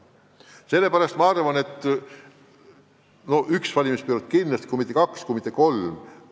Sellepärast ma arvan, et las asjad olla üks valimisperiood kindlasti, kui mitte kaks või kolm.